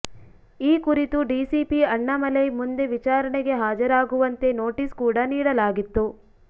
ಈ ಕುರಿತು ಡಿಸಿಪಿ ಅಣ್ಣಾಮಲೈ ಮುಂದೆ ವಿಚಾರಣೆಗೆ ಹಾಜರಾಗುವಂತೆ ನೋಟಿಸ್ ಕೂಡ ನೀಡಲಾಗಿತ್ತು